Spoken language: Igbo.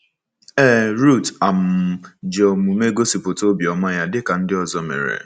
Ee, Ruth um ji omume gosipụta obiọma ya, dị ka ndị ọzọ mere.